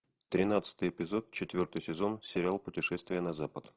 тринадцатый эпизод четвертый сезон сериал путешествие на запад